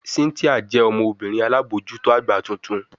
Cynthia le jẹ ọmọbirin alabojuto agba tuntun